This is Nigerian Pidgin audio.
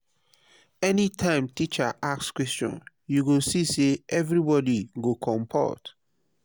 anytime teacher ask question you go see say everybody go compot.